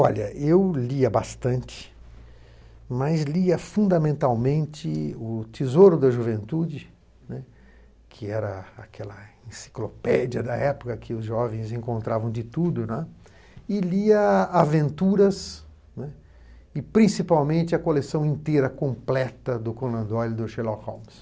Olha, eu lia bastante, mas lia fundamentalmente o Tesouro da Juventude, né, que era aquela enciclopédia da época que os jovens encontravam de tudo, né, e lia Aventuras, né, e, principalmente, a coleção inteira completa do Conan Doyle e do Sherlock Holmes.